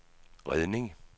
redning